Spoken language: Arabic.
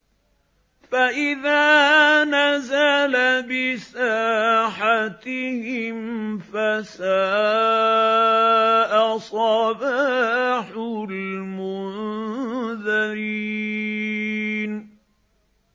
فَإِذَا نَزَلَ بِسَاحَتِهِمْ فَسَاءَ صَبَاحُ الْمُنذَرِينَ